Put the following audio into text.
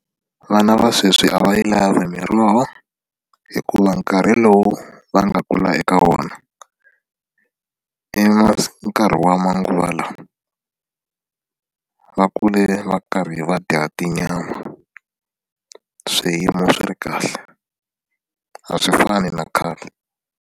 Vana va sweswi a va yi lavi miroho hikuva nkarhi lowu va nga kula eka wona i nkarhi wa manguva lawa va kule va karhi va dya tinyama swiyimo swi ri kahle a swi fani na khale.